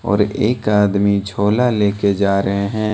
और एक आदमी झोला ले के जा रहे हैं।